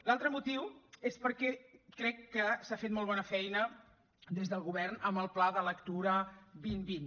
l’altre motiu és perquè crec que s’ha fet molt bona feina des del govern amb el pla de lectura dos mil vint